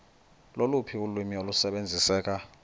loluphi ulwimi olusebenziseka